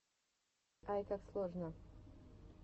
айкаксложно